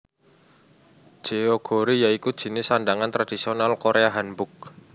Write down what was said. Jeogori ya iku jinis sandhangan tradisional Korea Hanbok